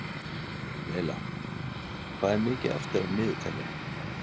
Laila, hvað er mikið eftir af niðurteljaranum?